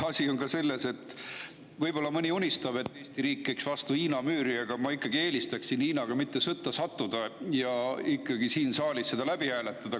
Asi on ka selles, et kuigi mõni võib-olla unistab sellest, et Eesti riik käiks vastu Hiina müüri, aga mina eelistaksin ikkagi Hiinaga mitte sõtta sattuda ja siin saalis selle läbi hääletada.